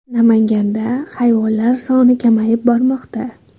Namanganda hayvonlar soni kamayib bormoqda .